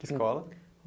Que escola?